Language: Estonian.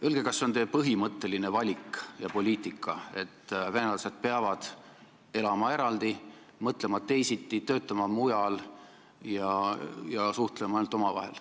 Öelge, kas see on teie põhimõtteline valik ja poliitika, et venelased peavad elama eraldi, mõtlema teisiti, töötama mujal ja suhtlema ainult omavahel.